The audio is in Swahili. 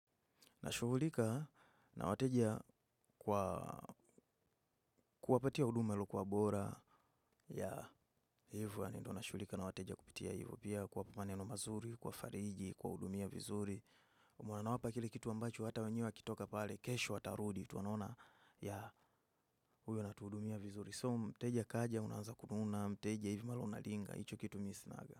Nashughulika na wateja kuwapatia huduma lilokuwa bora ya hivyo yanendo nashughulika na wateja kupitia hivyo pia kuwapu maneno mazuri, kwa fariji, kuwahudumia vizuri. Huwa nawapa kile kitu ambacho hata wenyewe wakitoka pale, kesho watarudi, tu anaona ya huyo anatuudumia vizuri. So mteja kaja, unaanza kumuona, mteja hivyo malo unaringa, icho kitu mi sinaga.